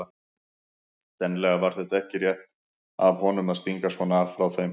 Sennilega var þetta ekki rétt af honum að stinga svona af frá þeim.